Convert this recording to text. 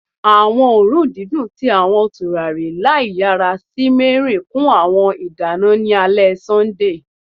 Awọn oorun didun ti awọn turari laiyara simmering kun awọn idana ni Sunday ale